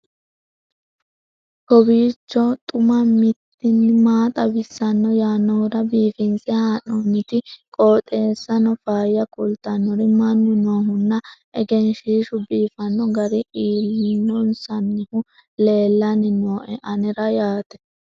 kowiicho xuma mtini maa xawissanno yaannohura biifinse haa'noonniti qooxeessano faayya kultannori mannu noohunna egenshshiishu biifanno garinni lloonsoonnihu leellanni nooe anera yaate